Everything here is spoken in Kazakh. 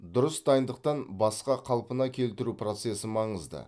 дұрыс дайындықтан басқа қалпына келтіру процесі маңызды